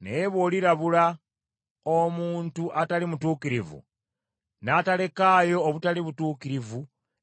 Naye bw’olirabula omuntu atali mutuukirivu, n’atalekaayo obutali butuukirivu,